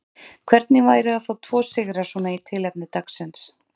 Hvernig væri að fá tvo sigra svona í tilefni dagsins?